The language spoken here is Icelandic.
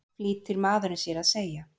flýtir maðurinn sér að segja.